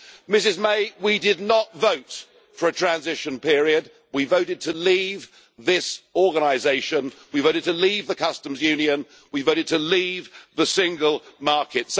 Ms May, we did not vote for a transition period, we voted to leave this organisation, we voted to leave the customs union, we voted to leave the single market.